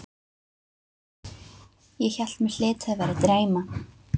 Ég hélt mig hlyti að vera að dreyma.